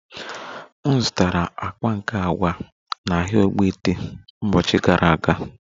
M zụtara akpa nke agwa na ahịa ogbete mbochi gara aga